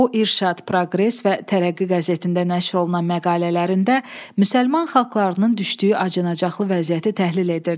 O irşad, proqres və tərəqqi qəzetlərində nəşr olunan məqalələrində müsəlman xalqlarının düşdüyü acınacaqlı vəziyyəti təhlil edirdi.